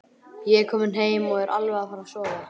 Ég er kominn heim og alveg að fara að sofa.